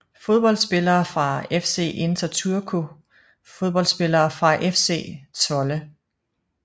Fodboldspillere fra FC Inter Turku Fodboldspillere fra FC Zwolle